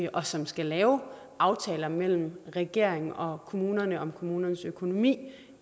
og som skal lave aftaler mellem regeringen og kommunerne om kommunernes økonomi